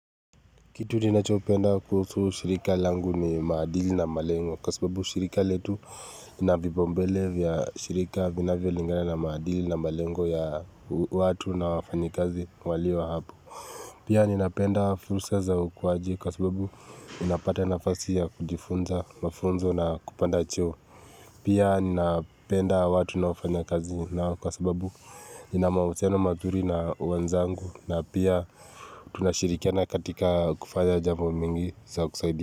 Kitu ninachopenda kuhusu shirika langu ni maadili na malengo kwa sababu shirika letu inavipaumbele vya shirika vinavyolingana na maadili na malengo ya watu na wafanyikazi walio hapo. Pia ninapenda fursa za ukuwaji kwa sababu ninapata nafasi ya kujifunza mafunzo na kupanda cheo. Pia ninapenda watu ninaofanya kazi nao kwa sababu nina mahusiano mazuri na wenzangu na pia tunashirikiana katika kufanya jambo mingi za kusaidia.